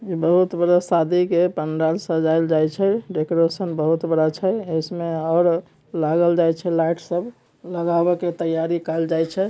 बहुत बड़ा सादी का पंडाल सजाई जयचे है डेकोरेशन बहुत बड़ा छे और लाइट लगाने की तयारी कर रहे छे।